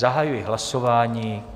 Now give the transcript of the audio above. Zahajuji hlasování.